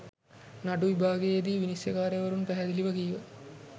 නඩු විභාගයේදී විනිශ්චයකාරවරුන් පැහැදිළිව කීව